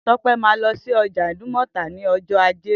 Tope mà lọsi ọ̀jà idúmọtá ni ọjọ àjé